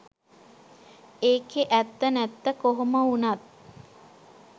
ඒකේ ඇත්ත නැත්ත කොහොම වුනත්